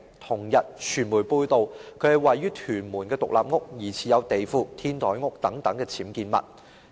同日，傳媒報道其位於屯門的獨立屋疑似有地庫、天台屋等僭建物。